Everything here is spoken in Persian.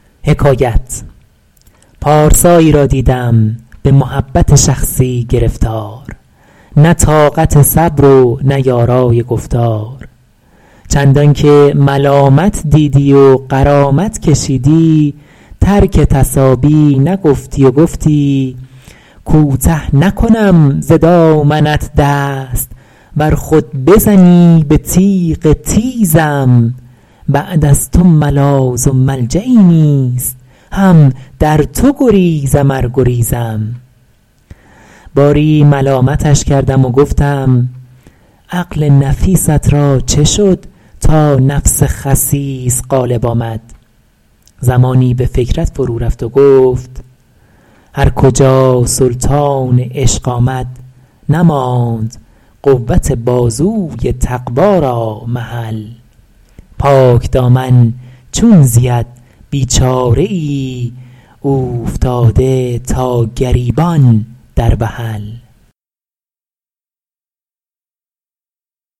پارسایی را دیدم به محبت شخصی گرفتار نه طاقت صبر و نه یارای گفتار چندان که ملامت دیدی و غرامت کشیدی ترک تصابی نگفتی و گفتی کوته نکنم ز دامنت دست ور خود بزنی به تیغ تیزم بعد از تو ملاذ و ملجایی نیست هم در تو گریزم ار گریزم باری ملامتش کردم و گفتم عقل نفیست را چه شد تا نفس خسیس غالب آمد زمانی به فکرت فرو رفت و گفت هر کجا سلطان عشق آمد نماند قوت بازوی تقویٰ را محل پاکدامن چون زید بیچاره ای اوفتاده تا گریبان در وحل